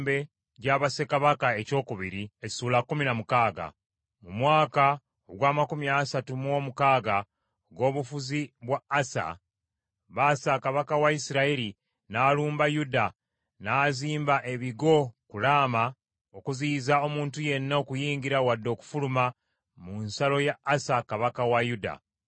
Mu mwaka ogw’amakumi asatu mu omukaaga ogw’obufuzi bwa Asa, Baasa kabaka wa Isirayiri n’alumba Yuda, n’azimba ebigo ku Laama okuziyiza omuntu yenna okuyingira wadde okufuluma mu nsalo ya Asa kabaka wa Yuda.